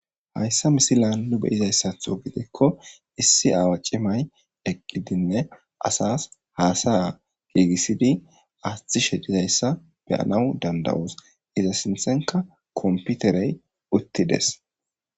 hayssa misilaanlu beyizayssatho gidekko issi awa cimay eqqidinne asas haasaya giigissidi asthishe dizayssa beyanaw dandawoos iza sinthenka komputerey uttides